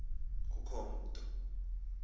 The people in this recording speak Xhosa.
ngaba kukho mntu